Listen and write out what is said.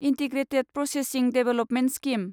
integrated processing development scheme